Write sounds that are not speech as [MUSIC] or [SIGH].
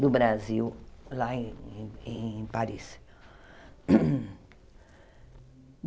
do Brasil, lá em em Paris. [COUGHS]